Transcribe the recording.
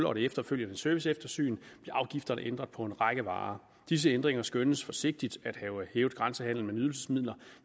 og det efterfølgende serviceeftersyn blev afgifterne ændret på en række varer disse ændringer skønnes forsigtigt at have hævet grænsehandelen med nydelsesmidler